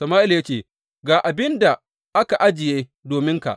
Sama’ila ya ce, Ga abin da aka ajiye dominka.